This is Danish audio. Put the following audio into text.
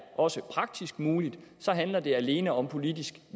også er praktisk muligt og så handler det alene om politisk